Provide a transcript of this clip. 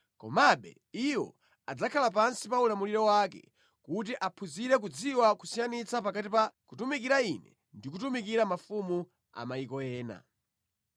Komabe iwo adzakhala pansi pa ulamuliro wake, kuti aphunzire kudziwa kusiyanitsa pakati pa kutumikira Ine ndi kutumikira mafumu a mayiko ena.”